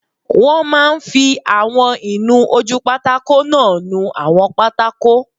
Wọ́n máa n fi àwọn ìnu-ojúpátákó náà nu àwọn pátákó